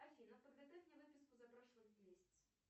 афина подготовь мне выписку за прошлый месяц